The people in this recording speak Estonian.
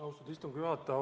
Austatud istungi juhataja!